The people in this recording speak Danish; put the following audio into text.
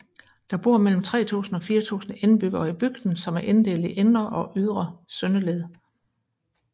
Der bor mellem 3000 og 4000 indbyggere i bygden som er inddelt i Indre og Ytre Søndeled